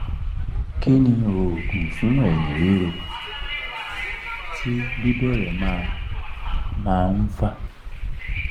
kí ni oogun fun eyin riro ti bi bere ma ma n fa?